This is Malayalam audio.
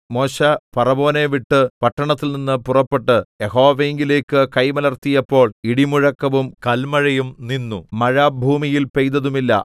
മോശെ ഫറവോനെ വിട്ട് പട്ടണത്തിൽനിന്ന് പുറപ്പെട്ട് യഹോവയിങ്കലേക്ക് കൈ മലർത്തിയപ്പോൾ ഇടിമുഴക്കവും കല്മഴയും നിന്നു മഴ ഭൂമിയിൽ പെയ്തതുമില്ല